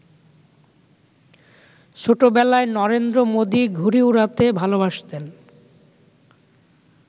ছোটবেলায় নরেন্দ্র মোদি ঘুড়ি উড়াতে ভালোবাসতেন।